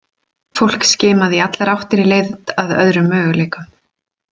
Fólk skimaði í allar áttir í leit að öðrum möguleikum.